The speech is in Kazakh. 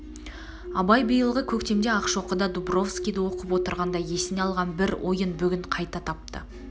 абай биылғы көктемде ақшоқыда дубровскийді оқып отырғанда есіне алған бір ойын бүгін қайта тапты